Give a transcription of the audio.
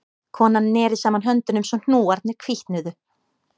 Konan neri saman höndunum svo hnúarnir hvítnuðu